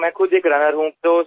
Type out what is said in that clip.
तर मी स्वतः एक धावपटू आहे